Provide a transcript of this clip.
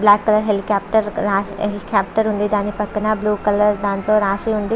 Black colour helicopter helicopter ఉనాది. దాని పక్కన బ్లూ కలర్ లో రాసి ఉనాది.